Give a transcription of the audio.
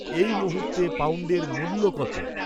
এই মুহূর্তে পাউন্ডের মূল্য কত